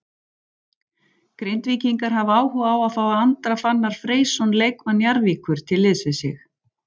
Grindvíkingar hafa áhuga á að fá Andra Fannar Freysson leikmann Njarðvíkur til liðs við sig.